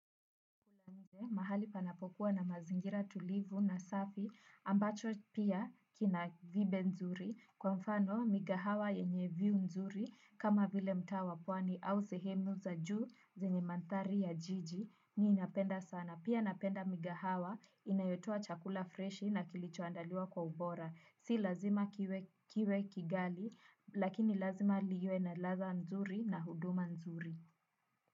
Mahali panapo kuwa na mazingira tulivu na safi ambacho pia kina vibe nzuri kwa mfano mikahawa yenye viu nzuri kama vile mtaa wa pwani au sehemu za juu zenye manthari ya jiji mi imnapenda sana. Pia napenda mikahawa inayotoa chakula freshi na kilicho andaliwa kwa ubora. Si lazima kiwe kigali lakini lazima liwe na ladha nzuri na huduma nzuri.